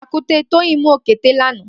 Pàkùté Toyin mù ókété lànã